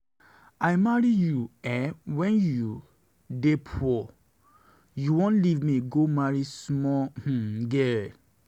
I marry you wen you dey poor, you wan leave me go marry small um girl.